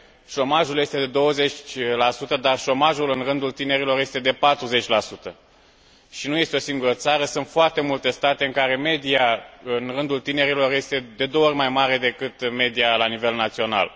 șomajul este de 20 dar șomajul în rândul tinerilor este de 40 și nu este o singură țară, sunt foarte multe state în care media în rândul tinerilor este de două ori mai mare decât media la nivel național.